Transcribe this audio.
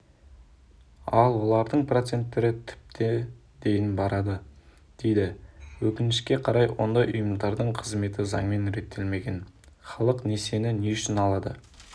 ал олардың проценттері тіпті дейін барады дейді өкінішке қарай ондай ұйымдардың қызметі заңмен реттелмеген халық несиені не үшін алады